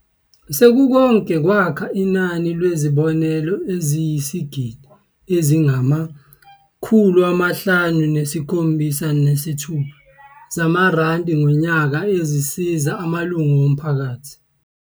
"Sekukonke kwakha inani lwezibonelelo eziyizigidi ezingama576 zamarandi ngonyaka ezisiza amalungu omphakathi."